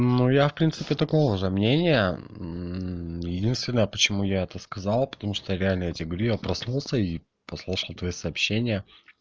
ну я в принципе такого же мнение единственное почему я это сказал потому что реально я тебе говорю я проснулся и послушал твои сообщения